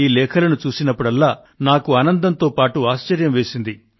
ఈ లేఖలను చూసినప్పుడల్లా నాకు ఆనందంతో పాటు ఆశ్చర్యం వేసింది